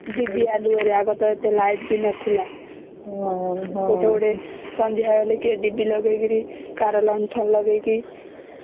ଡିବି ଆଲୁଅ ରେ ଆଗରେ ତ ଏତେ ଲାଇଟ ବି ନଥିଲା ଗୋଟେ ଗୋଟେ ସନ୍ଧ୍ୟା ହେଲେ କେରେ ଡିବି ଲଗେଇକିରି କରେ ଲଣ୍ଠନ ଲଗେଇକି